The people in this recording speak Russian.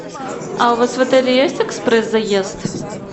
а у вас в отеле есть экспресс заезд